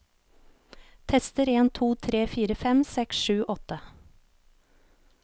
Tester en to tre fire fem seks sju åtte